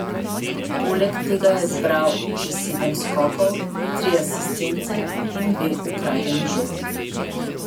Poleg tega je zbral še sedem skokov, tri asistence in dve ukradeni žogi.